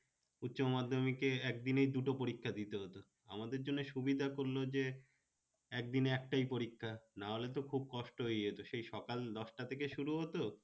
উচ্চ মাধ্যমিকে একদিনে দুটো পরীক্ষা দিতে হতো আমাদের জন্য সুবিধা করলো যে, একদিনে একটাই পরীক্ষা না হলে তো খুব কষ্ট হয়ে যেত সেই সকাল দশটা টা থেকে শুরু হতো,